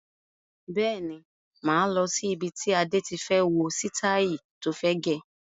Bẹ́ẹ̀ni, máa lọ sí ibi tí Adé tí fẹ́ wo sitai tó fẹ́ gẹ̀.